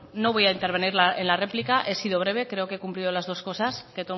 no voy a intervenir en la réplica he sido breve creo que he cumplido las dos cosas que